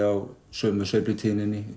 á sömu